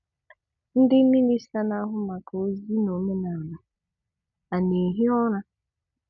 Ńdị́ Mịnistà ná-áhụ́ màkà Ózí nà Òménàlà, ànà-èhí ụ́ra?